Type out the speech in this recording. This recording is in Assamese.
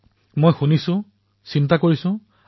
কিন্তু এক সুখদ অনুভৱ আৰু আকৰ্ষক অনুভৱো আছে